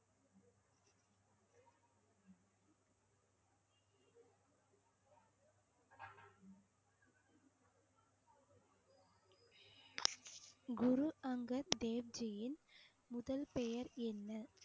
குரு அங்கர் தேவ்ஜியின் முதல் பெயர் என்ன